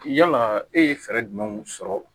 Yala e ye fɛɛrɛ jumɛnw sɔrɔ